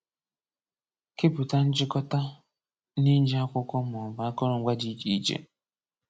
Kepụta nchịkọta n'iji akwụkwọ maọbụ akụrụngwa dị iche iche.